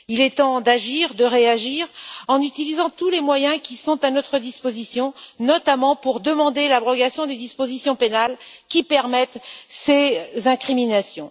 Il est temps d'agir et de réagir en utilisant tous les moyens qui sont à notre disposition, notamment pour demander l'abrogation des dispositions pénales qui permettent ces incriminations.